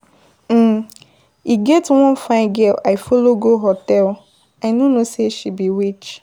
um E get one fine girl I follow go hotel, I no know say she be witch.